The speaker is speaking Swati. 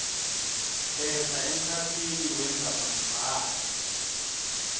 khetsa emkhatsini wendzabambhalo